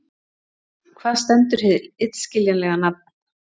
Hvað stendur hið illskiljanlega nafn